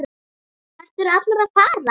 Hvert eru allir að fara?